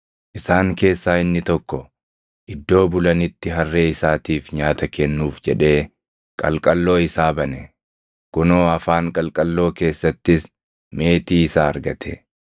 Isaan keessaa inni tokko iddoo bulanitti harree isaatiif nyaata kennuuf jedhee qalqalloo isaa bane; kunoo afaan qalqalloo keessattis meetii isaa argate.